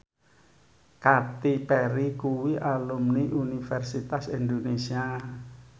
Katy Perry kuwi alumni Universitas Indonesia